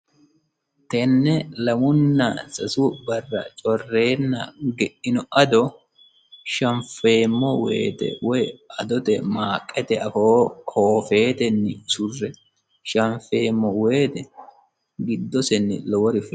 tenne lamunna sasu barra correenna geino ado shanfeemmo woyte woy adote maaqete afoo hoofeetenni usurre shanfeemmo woyte giddosenni lowori fulawo